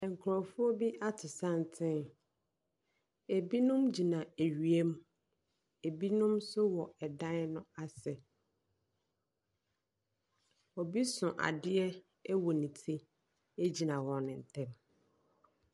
Nkurɔfoɔ bi ato santen, binom gyina awia mu, binom nso wɔ dan no ase. Obi so adeɛ wɔ ne ti gyina wɔn ntam.